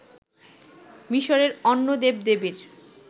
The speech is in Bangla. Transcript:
মিসরের অন্য দেবদেবীর